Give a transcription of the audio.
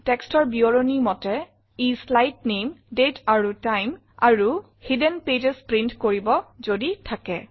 Textৰ বিৱৰণী মতে ই শ্লাইড নামে দাঁতে এণ্ড টাইম আৰু হিডেন পেজেছ প্ৰিণ্ট কৰিব যদি থাকে